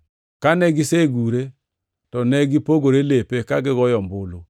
Kane gisegure, to ne gipogore lepe ka gigoyo ombulu.